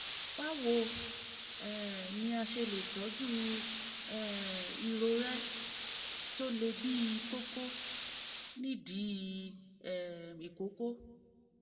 báwo um ni a ṣe lè tọ́jú um irorẹ́ tó le bíi kókó ní ìdí um ìkókó?